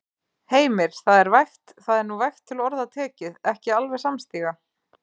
Heimir: Það er vægt, það er nú vægt til orða tekið, ekki alveg samstíga?